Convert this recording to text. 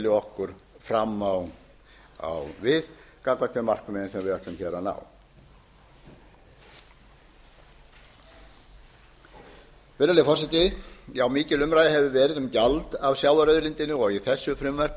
okkur fram á við gagnvart þeim markmiðum sem við ætlum að ná virðulegi forseti mikil umræða hefur verið um gjald af sjávarauðlindinni og í þessu frumvarp